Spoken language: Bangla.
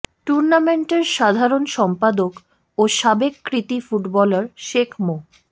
টুর্নামেন্টের সাধারণ সম্পাদক ও সাবেক কৃতি ফুটবলার শেখ মো